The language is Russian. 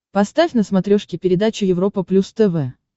поставь на смотрешке передачу европа плюс тв